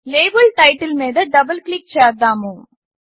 label title మీద double click చేద్దాము